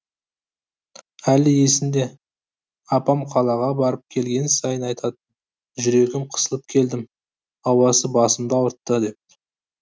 әлі есімде апам қалаға барып келген сайын айтатын жүрегім қысылып келдім ауасы басымды ауыртты деп